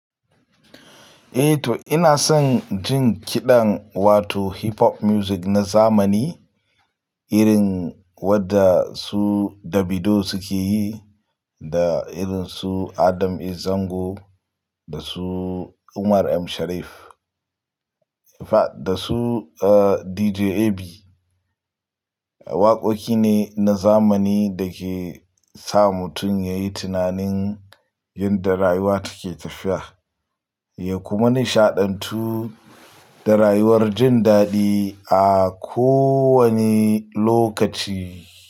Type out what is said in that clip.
Eh, to ina son jin kiɗan wato Hip Hop Music na zamani, irin wadda su Davido suke yi da irin su Adam A Zango da su Umar M Sharif, da su DJ Ab. Waƙoƙi ne na zamani da ke sa mutum ya yi tunanin yadda rayuwa take tafiya, ya kuma nishaɗantu da rayuwar jin daɗi a kowane lokaci.